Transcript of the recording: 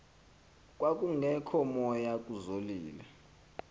kwakungekho moya kuzolile